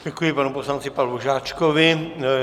Děkuji panu poslanci Pavlu Žáčkovi.